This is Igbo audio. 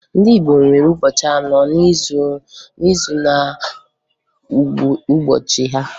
Ndị Igbo nwere ụbọchị anọ n'izu na ngụụbọchị ha.